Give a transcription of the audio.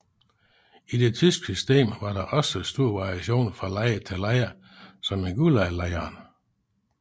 I det tyske system var der også stor variation fra lejr til lejr som i gulaglejrene